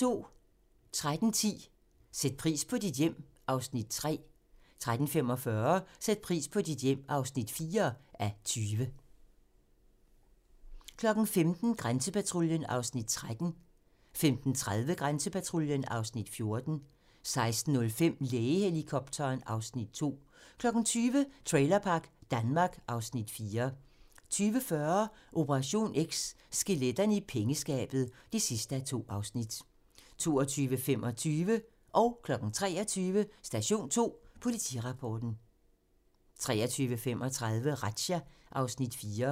13:10: Sæt pris på dit hjem (3:20) 13:45: Sæt pris på dit hjem (4:20) 15:00: Grænsepatruljen (Afs. 13) 15:30: Grænsepatruljen (Afs. 14) 16:05: Lægehelikopteren (Afs. 2) 20:00: Trailerpark Danmark (Afs. 4) 20:40: Operation X: Skeletterne i pengeskabet (2:2) 22:25: Station 2: Politirapporten 23:00: Station 2: Politirapporten 23:35: Razzia (Afs. 4)